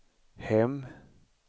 hem